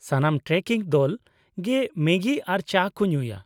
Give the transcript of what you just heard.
ᱥᱟᱱᱟᱢ ᱴᱨᱮᱠᱤᱝ ᱫᱚᱞ ᱜᱮ ᱢᱮᱜᱤ ᱟᱨ ᱪᱟ ᱠᱚ ᱧᱩᱭᱟ᱾